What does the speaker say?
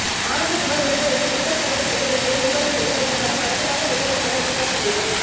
ஆனந்தகுமார் ஒளிப்பதிவில் விஷால் சந்திரசேகர் இசையில் உருவாகியுள்ள இந்தப் படம் அடுத்த மாதம் வெளியாகும் என எதிர்பார்க்கப்படுகிறது